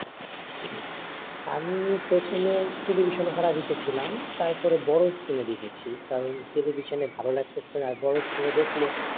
আমি প্রথমে টেলিভিশনে খেলা দেখেছিলাম তারপরে বড় স্কিনে দেখছি কারণ টেলিভিশনে ভালো লাগতেছে না বড় স্কিনে দেখলে